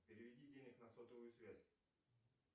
переведи денег на сотовую связь